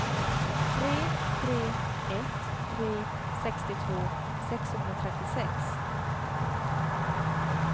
tre tre ett tre sextiotvå sexhundratrettiosex